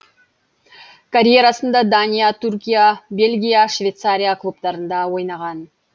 карьерасында дания түркия бельгия швейцария клубтарында ойнаған